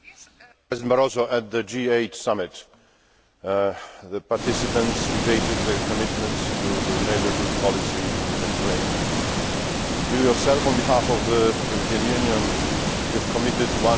Mr Barroso, at the G8 summit, the participants debated their commitments to the neighbourhood policy in the Mediterranean. You yourself, on behalf of the European Union, have committed EUR